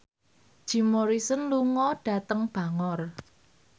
Jim Morrison lunga dhateng Bangor